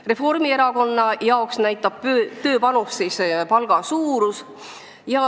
Reformierakonna arvates näitab tööpanust palga suurus.